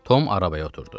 Tom arabaya oturdu.